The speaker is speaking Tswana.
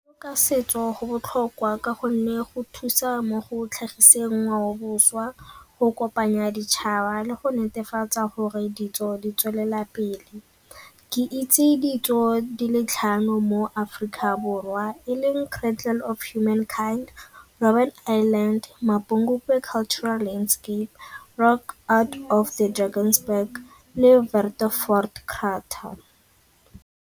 Ka setso go botlhokwa ka gonne go thusa mo go tlhagiseng ngwaoboswa, go kopanya ditšhaba le go netefatsa gore ditso di tswelela pele. Ke itse ditso di le tlhano mo mo Aforika Borwa e leng Cradle of Humankind, Robbin Island, Mapungubwe Cultural Landscape, Rock Art of the Drakensberg le .